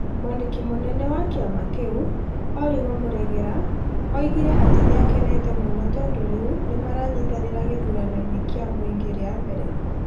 Mwandiki mũnene wa kĩama kĩu, Oliver Muregerera, oigire atĩ nĩ akenete mũno tondũ rĩu nĩ maranyitanĩra gĩthuranoinĩ kĩa mũingĩ rĩa mbere.